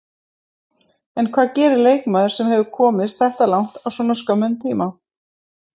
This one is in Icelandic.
En hvað gerir leikmaður sem hefur komist þetta langt á svona skömmum tíma?